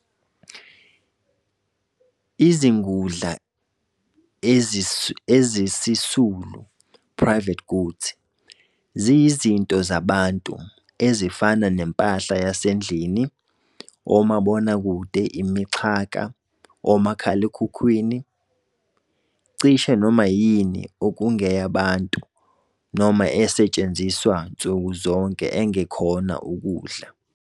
Izingudla ezisisulu, Private goods, ziyizinto zabantu, ezifana nempahla yasendlini, omabonakude, imixhaka, omakhalekhukhwini, cishe noma yini okungeyabantu noma esetshenziswa nsukuzonke engekhona ukudla.